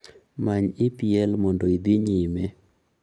Many EPL mondo idhi nyime